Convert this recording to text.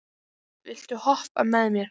Móey, viltu hoppa með mér?